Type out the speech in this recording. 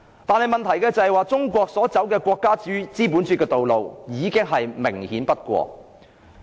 但問題是，中國走國家資本主義的道路已明顯不過。